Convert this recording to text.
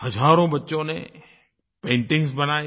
हज़ारों बच्चों ने पेंटिंग्स बनायी